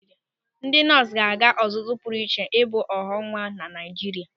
Ndị nọọsụ ga-aga ọzụzụ pụrụ iche ibu ọghọnwa na Naịjirịa.